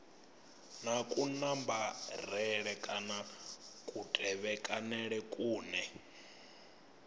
na kunambarele kana kutevhekanele kune